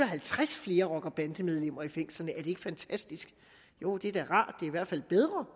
halvtreds flere rocker og bandemedlemmer i fængslerne er ikke fantastisk jo det er da rart i hvert fald bedre